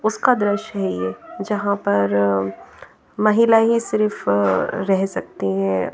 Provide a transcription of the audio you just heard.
उसका दृश्य है ये जहाँ पर महिला ही सिर्फ रह सकती हैं।